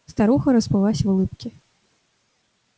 старуха расплылась в улыбке